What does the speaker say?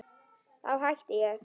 Þá hætti ég.